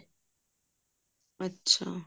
ਅੱਛਾ